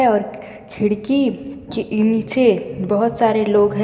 और खिड़की के नीचे बहुत सारे लोग है।